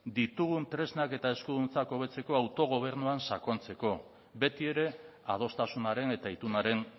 ditugun tresnak eta eskuduntza hobetzeko autogobernuan sakontzeko beti ere adostasunaren eta itunaren